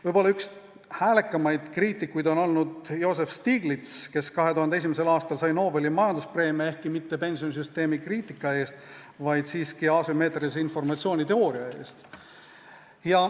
Võib-olla üks häälekamaid kriitikuid on olnud Joseph Stiglitz, kes 2001. aastal sai Nobeli majanduspreemia, ehkki mitte pensionisüsteemi kriitika eest, vaid asümmeetrilise informatsiooni teooria eest.